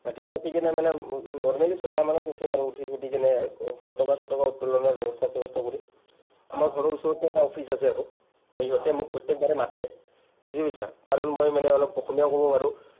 ৰাতিপুৱা উঠি কেনে মানে normally ছয়টা মানত উঠিম আৰু। উঠি চুঠি কেনে পতকা চতকা উত্তোলনৰ ব্যৱস্থা-চ্যৱস্থা কৰিম। আমাৰ ঘৰৰ ওচৰতে এটা অফিচ আছে আৰু। to সিহঁতে মোক প্ৰত্যেক বাৰে মাতে। বুজি পাইছা? কাৰণ মই মানে অলপ অসমীয়াও ক’ব পাৰোঁ।